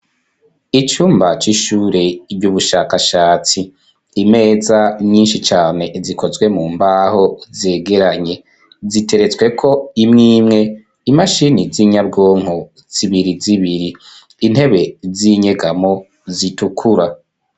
Icumba, c'ishure ry'ubushakashatsi; imeza nyinshi cane, zikozwe mu mbaho, zegeranye, ziteretsweko imwe imwe, imashini z'inyabwonko, zibiri zibiri; intebe z'inyegamo, zitukura.